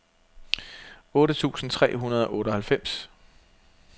otte tusind tre hundrede og otteoghalvfems